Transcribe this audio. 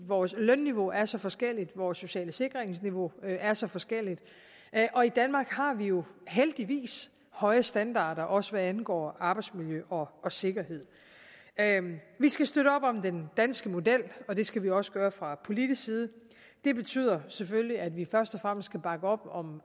vores lønniveau er så forskelligt vores sociale sikringsniveau er så forskelligt og i danmark har vi jo heldigvis høje standarder også hvad angår arbejdsmiljø og sikkerhed vi skal støtte op om den danske model og det skal vi også gøre fra politisk side det betyder selvfølgelig at vi først og fremmest skal bakke op om